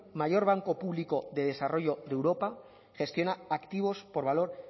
mayor banco público de desarrollo de europa gestiona activos por valor